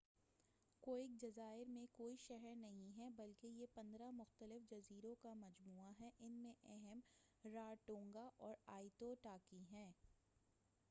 کوک جزائر میں کوئی شہر نہیں ہے بلکہ یہ 15 مختلف جزیروں کا مجموعہ ہے ان میں اہم رارٹونگا اور آئیتو ٹاکی ہیں